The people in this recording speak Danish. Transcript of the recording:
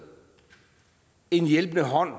en hjælpende hånd